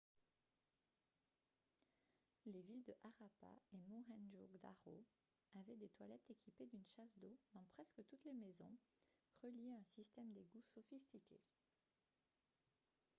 les villes de harappa et mohenjo-daro avaient des toilettes équipées d'une chasse d'eau dans presque toutes les maisons reliées à un système d'égouts sophistiqué